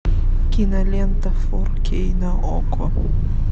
кинолента фор кей на окко